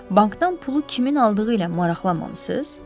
Bankdan pulu kimin aldığı ilə maraqlanmamısız?